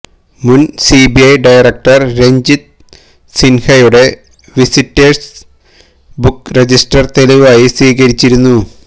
മുന് CBI director Ranjit സിന്ഹയുടെ visitors book register തെളിവായി സ്വീകരിച്ചിരുന്നു